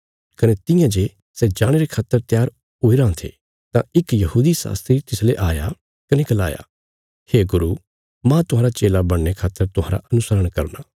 कने तियां जे सै जाणे रे खातर त्यार हुईराँ थे तां इक यहूदी शास्त्री तिसले आया कने गलाया हे गुरू मांह तुहांरा चेला बणने खातर तुहांरा अनुशरण करना